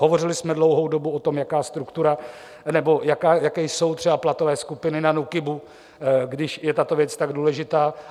Hovořili jsme dlouhou dobu o tom, jaká struktura nebo jaké jsou třeba platové skupiny na NÚKIBu, když je tato věc tak důležitá.